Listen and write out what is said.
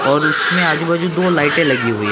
और इसमें आजू-बाजू दो लाइटे लगी हुई है।